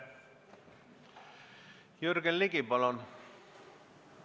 Jürgen Ligi, palun!